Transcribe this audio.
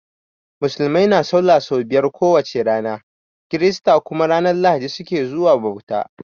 Musulmai na sallah so biyar ko wace rana, kirista kuma ranan lahadi su ke zuwa bauta.